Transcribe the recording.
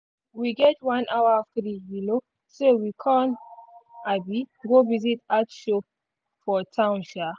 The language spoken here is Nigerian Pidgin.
we get one hour free um so we con um go visit art show for town. um